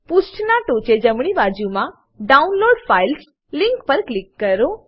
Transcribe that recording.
પુષ્ઠના ટોચે જમણીબાજુમા download files link પર ક્લિક કરો